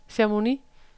Chamonix